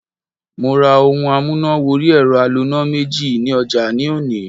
Mo ra ohun amúnà wọrí ẹ̀rọ aloná méjì ní ọjà ní òní.